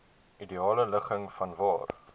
ideale ligging vanwaar